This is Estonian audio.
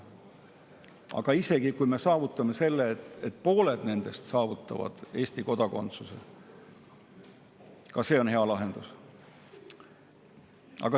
Aga isegi kui me saavutame selle, et pooled nendest saavad Eesti kodakondsuse, siis ka see on hea lahendus.